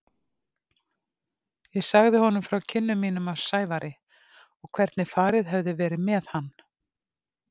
Ég sagði honum frá kynnum mínum af Sævari og hvernig farið hefði verið með hann.